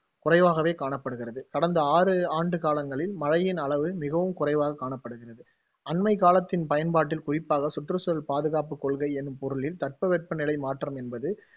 குறைவாகவே காணப்படுகிறது. கடந்த ஆறு ஆண்டு காலங்களில் மிகவும் குறைவாக காணப்படுகிறது. அண்மைக்காலத்தின் பயன்பாட்டில் குறிப்பாக சுற்று சூழல் பாதுகாப்பு என்னும் பொருளில் தட்பவெப்ப நிலை மாற்றம் என்பது